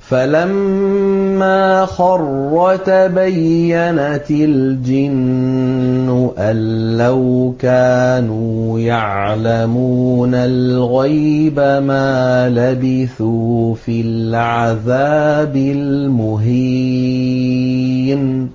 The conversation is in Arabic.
فَلَمَّا خَرَّ تَبَيَّنَتِ الْجِنُّ أَن لَّوْ كَانُوا يَعْلَمُونَ الْغَيْبَ مَا لَبِثُوا فِي الْعَذَابِ الْمُهِينِ